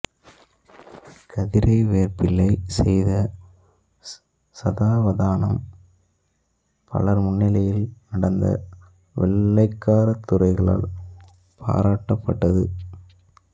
கதிரைவேற்பிள்ளை செய்த சதாவதானம் பலர் முன்னிலையில் நடந்து வெள்ளைக்கார துரைகளால் பாராட்டப்பட்டது